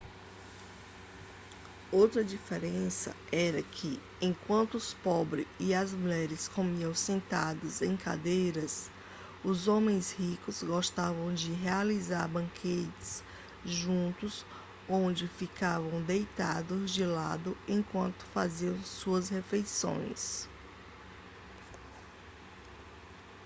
outra diferença era que enquanto os pobres e as mulheres comiam sentados em cadeiras os homens ricos gostavam de realizar banquetes juntos onde ficavam deitados de lado enquanto faziam suas refeições